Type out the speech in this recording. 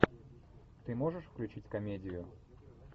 ты можешь включить комедию